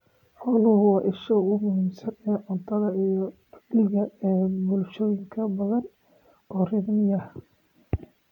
Xooluhu waa isha ugu muhiimsan ee cuntada iyo dakhliga ee bulshooyin badan oo reer miyi ah